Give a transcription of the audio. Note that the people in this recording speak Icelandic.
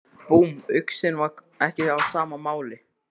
Búmm, uxinn var ekki á sama máli.